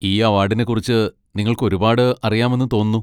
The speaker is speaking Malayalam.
ഈ അവാഡിനെക്കുറിച്ച് നിങ്ങൾക്ക് ഒരുപാട് അറിയാമെന്ന് തോന്നുന്നു.